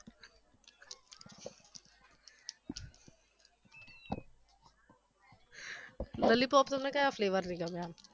lollipop તમને ક્યા flavour ની ગમે આમ